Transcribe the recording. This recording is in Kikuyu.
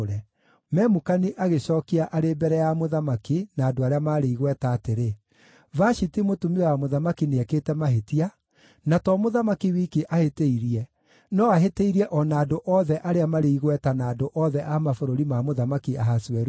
Memukani agĩcookia arĩ mbere ya mũthamaki na andũ arĩa maarĩ igweta atĩrĩ, “Vashiti mũtumia wa mũthamaki nĩekĩte mahĩtia, na to mũthamaki wiki ahĩtĩirie, no ahĩtĩirie o na andũ othe arĩa marĩ igweta na andũ othe a mabũrũri ma Mũthamaki Ahasuerusu.